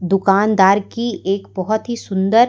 दुकानदार की एक बहुत ही सुंदर--